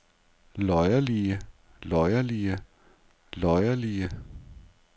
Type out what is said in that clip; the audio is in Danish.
løjerlige løjerlige løjerlige